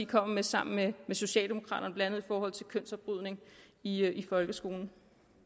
kommer med sammen med socialdemokraterne blandt andet i forhold til kønsopbrydning i folkeskolen